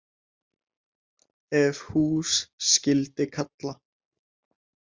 Ef hús skyldi kalla.